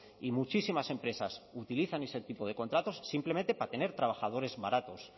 y muchísimas empresas utilizan ese tipo de contratos simplemente para tener trabajadores baratos